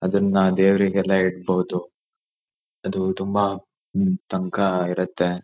ಅದನ್ನ ದೇವ್ರಿಗೆಲ್ಲಾ ಇಡಬೋದು ಅದು ತುಂಬಾ ಹ್ಮ್ಮ್ ತಂಕ ಇರತ್ತೆ